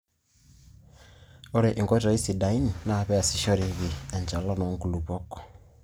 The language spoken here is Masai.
ore enkoitoi sidai naa pee eeasishoreki enchalan oo nkulupuok